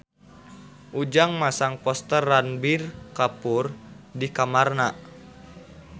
Ujang masang poster Ranbir Kapoor di kamarna